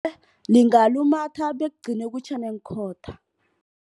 Lingalumatha bekugcine kutjhe neenkhotha.